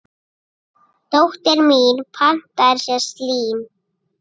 Dóttir mín pantaði sér slím.